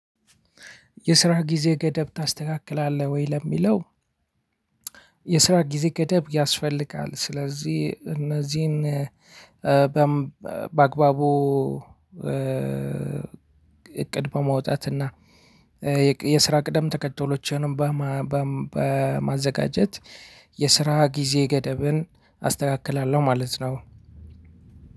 የስራ ጊዜ ገደብ ታስተካክላለህ ወይ ለሚለው? የስራ ጊዜ ገደብ ያስፈልጋል። ስለዚህ እነዚህን በምበአግባቡ እቅድ በማውጣት እና የስራ ቅደም ተከተሎችንም በማበም በማዘጋጀት። የስራ ጊዜ ገደብን አስተካክላለሁ ማለት ነው።